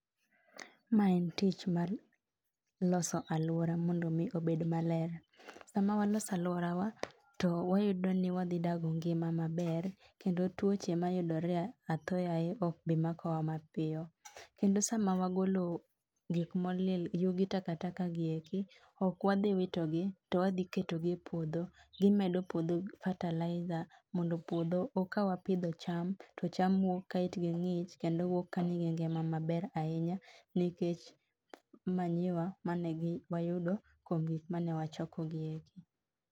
Ma en tich mar loso alwora mondo mi obed maler. Sama waloso alworawa to wayudo ni wadhi dago ngima maber, kendo tuoche mayudore athoyaye okbimakowa mapiyo. Kendo sama wagolo gik molil, yugi takataka gi eki, ok wadhi witogi to wadhi ketogi e puodho. Gimedo puodho fertilizer, mondo puodho kawapidho cham to cham wuok ka itgi ng'ich kendo wuok ka nigi ngima maber ahinya. Nikech manyiwa manewayudo kuom gik mane wachokogieki.